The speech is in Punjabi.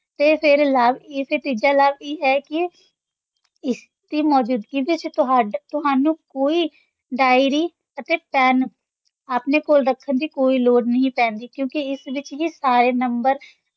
ਤੇ ਫਿਰ ਲਾਭ ਇਸਦਾ ਤੀਜਾ ਲਾਭ ਇਹ ਹੈ ਕਿ ਇਸ ਦੀ ਮੌਜੂਦਗੀ ਵਿੱਚ ਤੁਹਾਡਾ, ਤੁਹਾਨੂੰ ਕੋਈ diary ਅਤੇ pen ਆਪਣੇ ਕੋਲ ਰੱਖਣ ਦੀ ਕੋਈ ਲੋੜ ਨਹੀਂ ਪੈਂਦੀ ਕਿਉਂਕਿ ਇਸ ਵਿੱਚ ਹੀ ਸਾਰੇ number